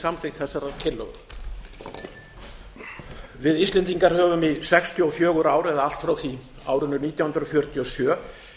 samþykkt þessarar tillögu við íslendingar höfum í sextíu og fjögur ár eða allt frá árinu nítján hundruð fjörutíu og sjö